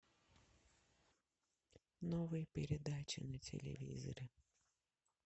новые передачи на телевизоре